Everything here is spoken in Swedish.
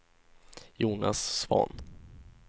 Jonas Svahn